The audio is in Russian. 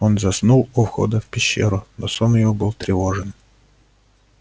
он заснул у входа в пещеру но сон его был тревожен